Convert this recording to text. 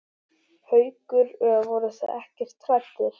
Haukur: Voruð þið ekkert hræddir?